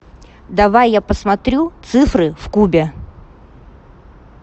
давай я посмотрю цифры в кубе